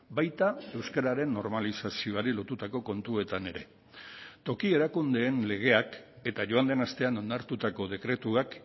baita euskararen normalizazioari lotutako kontuetan ere toki erakundeen legeak eta joan den astean onartutako dekretuak